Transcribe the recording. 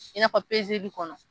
I n'a fɔ li kɔnɔ